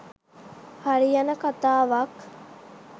හරියන කතාවක්.